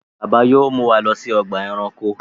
Bàbá yóò mú wá ló sí Ọgbà ẹranko.